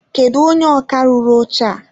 Kedụ onye ọkà rụrụ oche a?